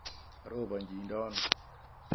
Karobochidono?